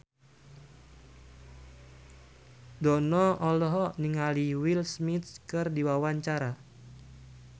Dono olohok ningali Will Smith keur diwawancara